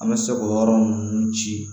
An bɛ se k'o yɔrɔ ninnu ci